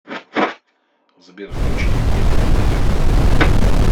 сбер включи евгения бондаренко